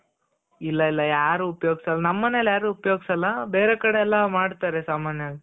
ಇಲ್ಲ ಇಲ್ಲ ನಮ್ ಮನೇಲಿ ಯಾರು ಉಪ್ಯೋಗ್ಸಲ್ಲ. ಬೇರೆ ಕಡೆ ಎಲ್ಲಾ ಮಾಡ್ತಾರೆ ಸಾಮಾನ್ಯವಾಗಿ .